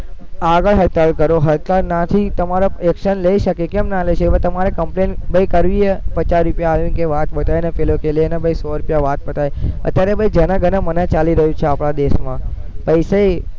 આગળ હડતાલ કરો હડતાલમાંથી તમારા action લઇ શકે કેમ ન લે છે તમારે complain ભૈ કરવી હે? પચાસ રૂપિયા આલે ને વાત પતાઈ ને પેલો કે લેને ભૈ સો રૂપિયા વાત પતાઈ અત્યારે ભૈ જેને જેને મને ચાલુ થઇ છે આપણા દેશમાં i say